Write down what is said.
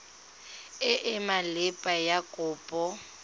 e e maleba ya kopo